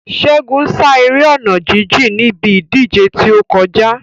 Ṣégun sá eré ọ̀nà jíjìn níbi ìdíje tí ó kọjá.